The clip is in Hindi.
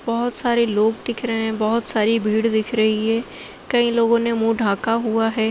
बहुत सारे लोग दिख रहे है| बहुत सारी भीड़ दिख रही है| कई लोगों ने मुंह ढाका हुआ है।